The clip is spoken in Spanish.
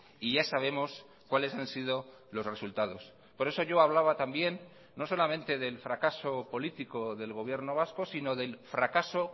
y ya sabemos cuáles han sido los resultados por eso yo hablaba también no solamente del fracaso político del gobierno vasco sino del fracaso